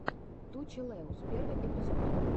ту челэуз первый эпизод